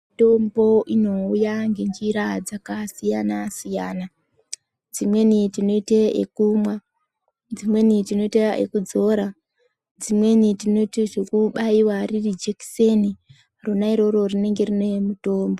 Mitombo inouya ngenjira dzakasiyana-siyana. Dzimweni tinoite yekumwa, dzimweni tinoite ekudzora, dzimweni tinoite zvekubaiwa jekiseni ronairoro rinenge rine mutombo.